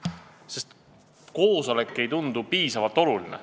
Ei lähe, sest koosolek ei tundu piisavalt oluline.